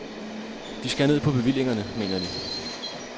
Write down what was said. De skærer ned på bevillingerne, mener de.